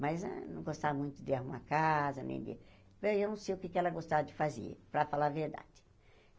Mas eh não gostava muito de arrumar casa, nem de... Eu não sei o que é que ela gostava de fazer, para falar a verdade.